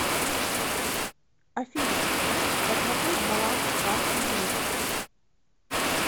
афина посмотреть баланс карты мир